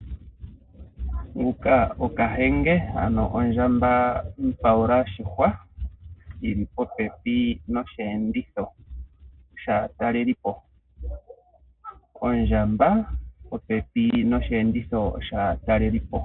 Kahenge ano ondjamba mupaula oshihwa yi li popepi nosheenditho shaatalelipo. Ondjamba yi li popepi nosheenditho shaatalelipo.